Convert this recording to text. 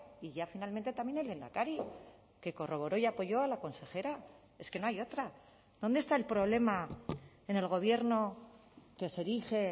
y ya finalmente también el lehendakari que corroboró y apoyó a la consejera es que no hay otra dónde está el problema en el gobierno que se erige